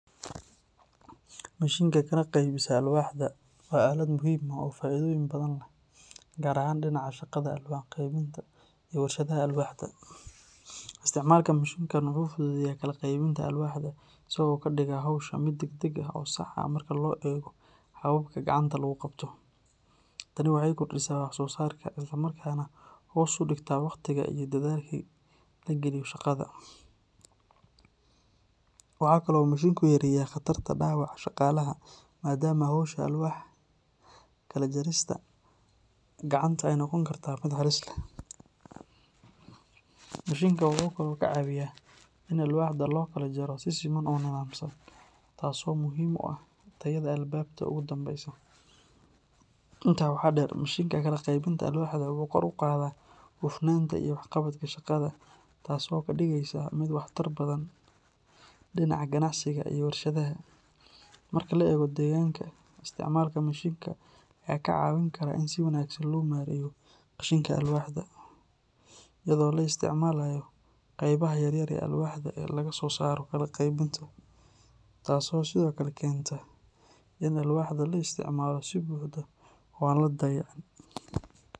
Mishiinka kala qaybisa alwaaxda waa aalad muhiim ah oo faa’iidooyin badan leh, gaar ahaan dhinaca shaqada alwaax-qeybinta iyo warshadaha alwaaxda. Isticmaalka mishiinkan wuxuu fududeeyaa kala qaybinta alwaaxda, isagoo ka dhiga hawsha mid degdeg ah oo sax ah marka loo eego hababka gacanta lagu qabto. Tani waxay kordhisaa wax soo saarka isla markaana hoos u dhigtaa waqtiga iyo dadaalka la geliyo shaqada. Waxa kale oo uu mishiinku yareeyaa khatarta dhaawaca shaqaalaha maadaama hawsha alwaax kala jarista gacanta ay noqon karto mid halis leh. Mishiinka wuxuu kaloo ka caawiyaa in alwaaxda loo kala jaro si siman oo nidaamsan, taasoo muhiim u ah tayada alaabta ugu dambeysa. Intaa waxaa dheer, mishiinka kala qaybinta alwaaxda wuxuu kor u qaadaa hufnaanta iyo waxqabadka shaqada, taasoo ka dhigaysa mid waxtar badan dhinaca ganacsiga iyo warshadaha. Marka la eego deegaanka, isticmaalka mishiinka ayaa ka caawin kara in si wanaagsan loo maareeyo qashinka alwaaxda, iyadoo la isticmaalayo qaybaha yaryar ee alwaaxda ee laga soo saaro kala qaybinta, taasoo sidoo kale keenta in alwaaxda la isticmaalo si buuxda oo aan la dayacin.